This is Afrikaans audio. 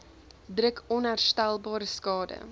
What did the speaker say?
druk onherstelbare skade